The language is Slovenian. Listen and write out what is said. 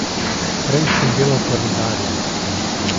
Prej sem delal pa rudarje ...